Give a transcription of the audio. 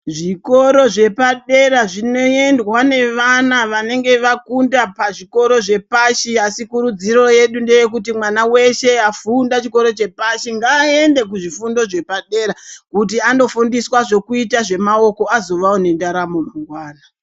Zvikoro zvepadera zvinoendwa nevana vanenge vakunda pazvikoro zvepashi. Asi kurudziro yedu ndeyekuti mwana weshe afunda chikoro chepashi ngaaende kuzvifundo zvepadera kuti andofundiswa zvokuita zvemaoko azovawo ngendaramo mangwana.